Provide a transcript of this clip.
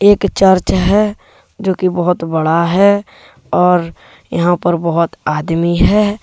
एक चर्च है जो की बहोत बड़ा है और यहां पर बहोत आदमी है।